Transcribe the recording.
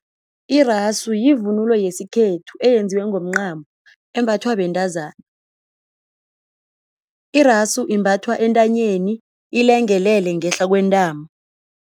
Irasu yivunulo yesikhethu eyenziwe ngomncamo embathwa bentazana. Irasu imbathwa entanyeni ilengelele ngehla kwentamo.